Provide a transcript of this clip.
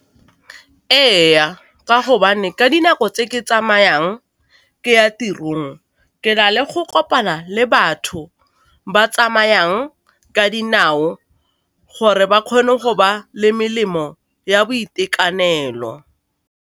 Ee, ka gobane ka dinako tse ke tsamayang ke ya tirong ke na le go kopana le batho ba tsamayang ka dinao gore ba kgone go ba le melemo ya boitekanelo.